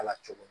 Ala cogo di